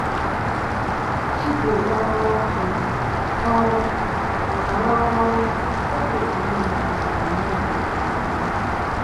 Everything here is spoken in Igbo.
Igwe oru ọkụ ọrụ na-arụ ọrụ ọma n’oge udu mmiri na n’oge okpomọkụ.